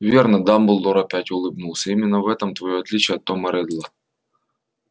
верно дамблдор опять улыбнулся именно в этом твоё отличие от тома реддла